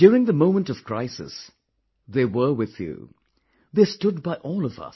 During the moment of crisis, they were with you; they stood by all of us